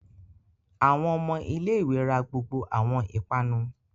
Awọn ọmọ ilé-ìwé rá gbogbo awọn ipanu